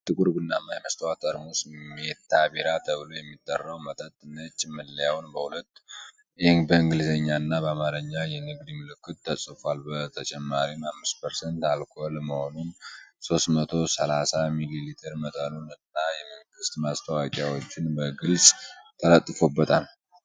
አንድ ጥቁር ቡናማ የመስታወት ጠርሙስ ሜታ ቢራ ተብሎ የሚጠራው መጠጥ ። ነጭ መለያው በሁለቱም በእንግሊዘኛ እና በአማርኛ የንግድ ምልክቱን ተፅፏል ። በተጨማሪም፣ 5% አልኮል መሆኑን፣ 330 ሚሊ ሊትር መጠኑን እና የመንግስት ማስጠንቀቂያዎችን በግልጽ ተለጥፈውበታል።